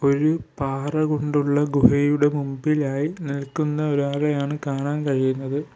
ഒരു പാറ കൊണ്ടുള്ള ഗുഹയുടെ മുമ്പിലായി നിൽക്കുന്ന ഒരാളെയാണ് കാണാൻ കഴിയുന്നത്.